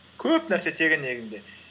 көп нәрсе тегін негізінде